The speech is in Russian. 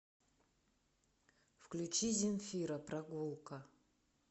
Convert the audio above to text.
включи земфира прогулка